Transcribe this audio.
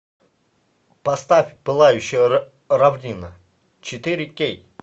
поставь пылающая равнина четыре кей